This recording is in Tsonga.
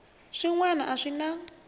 swin wana a swi na